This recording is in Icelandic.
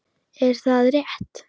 Er það rétt??